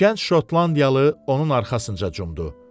Gənc Şotlandiyalı onun arxasınca cumdu.